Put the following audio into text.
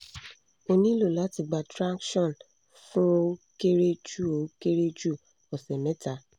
o nilo lati gba traction fun o kere ju o kere ju ose meta